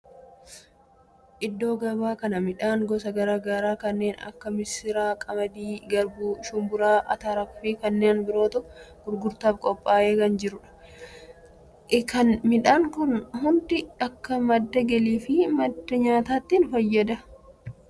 Iddoo gabaa kana midhaan gosa garaa garaa kanneen akka missira, qamadii, garbuu, shumburaa, atara, fi kanneen birootu gurgurtaaf qophaa'ee kan jirudha. Midhaan kunneen hundi akka madda galii fi madda nyaataatti fayyadu.